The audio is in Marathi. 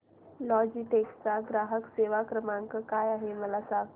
लॉजीटेक चा ग्राहक सेवा क्रमांक काय आहे मला सांगा